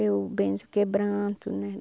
Eu benzo quebranto, né?